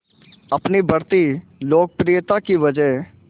अपनी बढ़ती लोकप्रियता की वजह